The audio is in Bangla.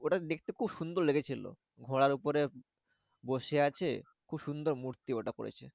ওটা দেখতে খুব সুন্দর লেগেছিলো। ঘোড়ার উপরে বসে আছে খুব সুন্দর মূর্তি ওটা করেছে